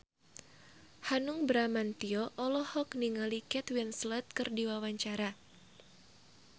Hanung Bramantyo olohok ningali Kate Winslet keur diwawancara